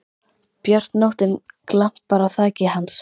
björt nóttin glampar á þaki hans.